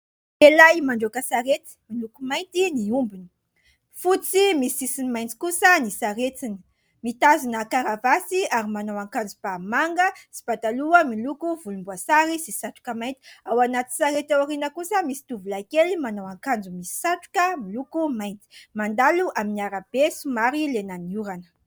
tehilahy mandroaka saretsy miloko mainty ny ombony fotsy misy sisiny maintsy kosa ny saretsiny mitazina karavasy ary manao an-kanjo m-pamanga sy mpadaloha miloko volomboasary sy satroka mainty ao anaty sarety ao ariana kosa misy tovolay kely manao an-kanjo misy satroka miloko mainty mandalo amin'ny ara-be sy mary lenaniorana